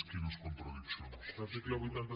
article vuit cents i